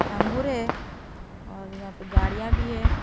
अंगूर है और यहां पे गाड़ियां भी है।